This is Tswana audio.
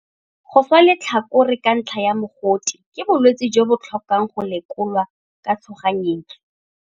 Go swa letlhakore ka ntlha ya mogote ke bolwetse jo bo tlhokang go lekolwa ka tshoganyetso.